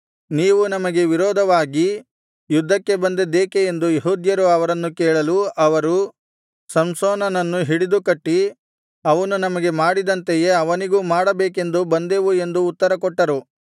ನೀವು ನಮಗೆ ವಿರೋಧವಾಗಿ ಯುದ್ಧಕ್ಕೆ ಬಂದದ್ದೇಕೆ ಎಂದು ಯೆಹೂದ್ಯರು ಅವರನ್ನು ಕೇಳಲು ಅವರು ಸಂಸೋನನನ್ನು ಹಿಡಿದು ಕಟ್ಟಿ ಅವನು ನಮಗೆ ಮಾಡಿದಂತೆಯೇ ಅವನಿಗೂ ಮಾಡಬೇಕೆಂದು ಬಂದೆವು ಎಂದು ಉತ್ತರಕೊಟ್ಟರು